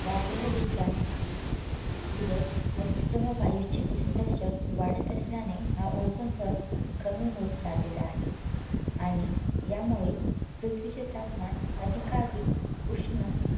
वाढलेले दिवसं दिवस हरितगृह वायूचे उत्सर्जन वाढत असल्याने हा Ozone थर कमी होत चाललेला आहे आणि यामुळे पृथ्वीचे तापमान अधिकाधिक उष्ण